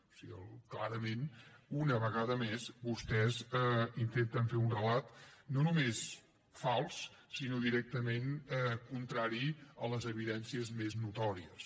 o sigui clarament una vegada més vostès intenten fer un relat no només fals sinó directament contrari a les evidències més notòries